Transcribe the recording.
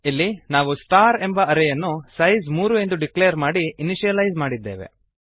ಇಲ್ಲಿ ನಾವು ಸ್ಟಾರ್ ಎಂಬ ಅರೇಯನ್ನು ಸೈಸ್ ಮೂರು ಎಂದು ಡಿಕ್ಲೇರ್ ಮಾಡಿ ಇನಿಶಿಯಲೈಸ್ ಮಾಡಿದ್ದೇವೆ